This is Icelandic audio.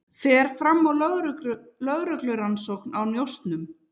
Fer fram á lögreglurannsókn á njósnum